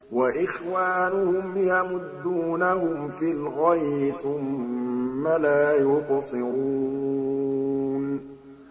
وَإِخْوَانُهُمْ يَمُدُّونَهُمْ فِي الْغَيِّ ثُمَّ لَا يُقْصِرُونَ